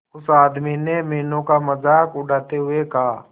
उस आदमी ने मीनू का मजाक उड़ाते हुए कहा